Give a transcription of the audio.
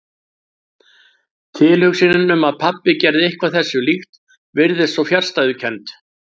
Tilhugsunin um að pabbi gerði eitthvað þessu líkt virtist svo fjarstæðukennd.